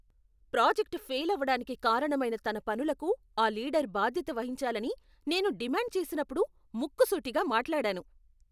Project fail అవడానికి కారణమైన తన పనులకు ఆ లీడర్ బాధ్యత వహించాలని నేను డిమాండ్ చేసినప్పుడు ముక్కుసూటిగా మాట్లాడాను.